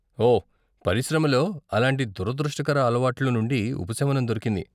ఓ! పరిశ్రమలో అలాంటి దురదృష్టకర అలవాట్లు నుండి ఉపశమనం దొరికింది.